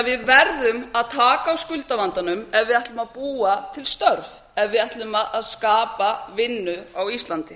við verðum að taka á skuldavandanum ef við ætlum að búa til störf ef við ætlum að skapa vinnu á íslandi